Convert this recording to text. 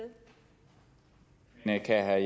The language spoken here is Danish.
er